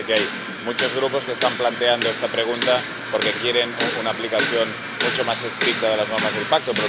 Ya sé que hay muchos Grupos que están planteando esta pregunta porque quieren una aplicación mucho más estricta de las normas del Pacto